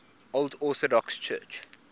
old orthodox church